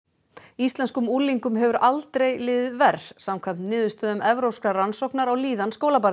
íslenskum unglingum hefur aldrei liðið verr samkvæmt niðurstöðum evrópskrar rannsóknar á líðan skólabarna